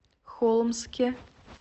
холмске